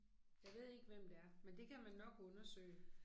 Jeg ved ikke hvem det er, men det kan man nok undersøge